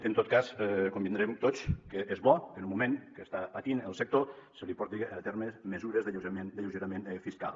en tot cas convindrem tots que és bo que en un moment que està patint el sector se li porti a terme mesures d’alleugeriment fiscal